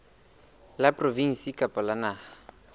la provinse kapa la naha